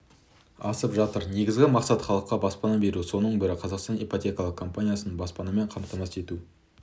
асып жатыр негізгі мақсат халыққа баспана беру соның бірі қазақстан ипотекалық компаниясы баспанамен қамтамасыз ету